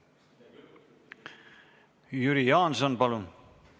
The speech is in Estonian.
Jüri Jaanson, palun!